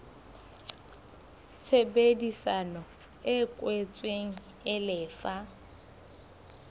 tshebedisano e kwetsweng e lefa